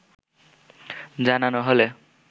জানানো হলে